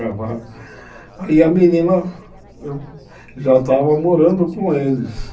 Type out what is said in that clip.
Aí a menina já estava morando com eles.